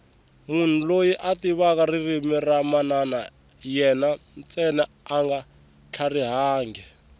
munhu loyi a tivaka ririmi ra mana yena ntsena anga tlharihangi